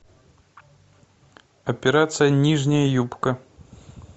операция нижняя юбка